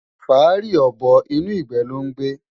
Fáàrí ọ̀bọ inú ìgbé ló ń gbé.